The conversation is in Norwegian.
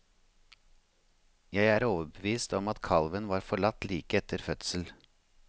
Jeg er overbevist om at kalven var forlatt like etter fødsel.